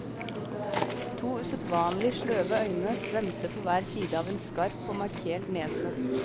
To usedvanlig sløve øyne svømte på hver sideav en skarp og markert nese.